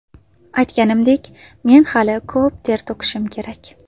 Aytganimdek, men hali ko‘p ter to‘kishim kerak.